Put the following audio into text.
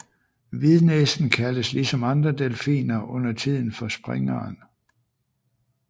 Hvidnæsen kaldes ligesom andre delfiner undertiden for springeren